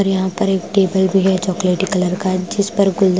और यहां पर एक टेबल भी है चॉकलेटी कलर का जिस पर गुलदस्ता --